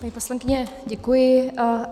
Paní poslankyně, děkuji.